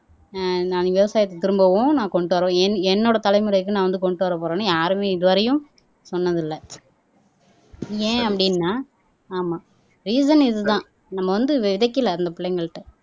ஆஹ் நான் விவசாயத்தை திரும்பவும் நான் கொண்டு வருவேன் என் என்னோட தலைமுறைக்கு நான் வந்து கொண்டு வரப் போறேன்னு யாருமே இதுவரையும் சொன்னதில்லை ஏன் அப்படின்னா ஆமா ரீசன் இதுதான் நம்ம வந்து விதைக்கலை அந்த பிள்ளைங்கள்ட்ட